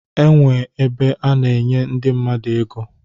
A na-enwe ebe a na-enye ndị mmadụ ego